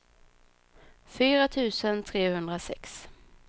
fyra tusen trehundrasex